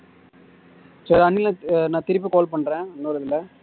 சரி அணில் நான் திருப்பி call பண்றேன் இன்னொரு இதுல